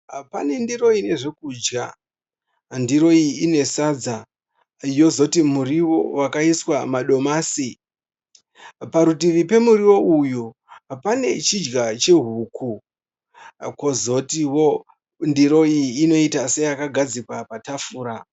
Pane ndiro ine zvokudya. Ndiro iyi ine sadza, yozoti muriwo wakaiswa madomasi. Parutivi pemuriwo uyu pane chidya chehuku, kozotiwo ndiro iyi inoita seyakagadzikwa patafura.